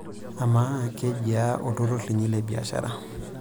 Amaa, kejiaa olturrur linyi le biashara/